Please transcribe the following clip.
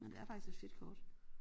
Men det er faktisk et fedt kort